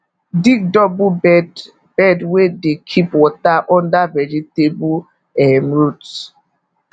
dig double bed bed wey dey keep water under vegetable um root